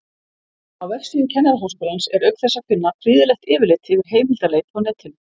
Á vefsíðu Kennaraháskólans er auk þess að finna prýðilegt yfirlit yfir heimildaleit á netinu.